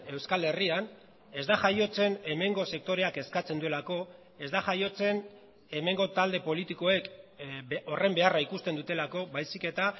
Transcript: euskal herrian ez da jaiotzen hemengo sektoreak eskatzen duelako ez da jaiotzen hemengo talde politikoek horren beharra ikusten dutelako baizik eta